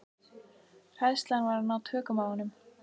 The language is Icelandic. Hræðslan var að ná tökum á honum.